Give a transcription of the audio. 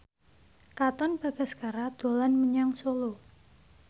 Katon Bagaskara dolan menyang Solo